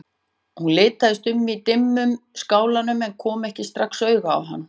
Hún litaðist um í dimmum skálanum en kom ekki strax auga á hann.